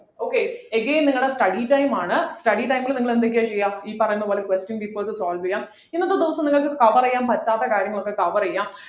okay again നിങ്ങളുടെ study time ആണ് study time ൽ നിങ്ങൾ എന്തൊക്കെ ചെയ്യാ ഈ പറയുന്ന പോലെ question papers solve ചെയ്യാം ഇന്നത്തെ ദിവസം നിങ്ങൾക്ക് cover ചെയ്യാൻ പറ്റാത്ത കാര്യങ്ങളൊക്കെ over ചെയ്യാ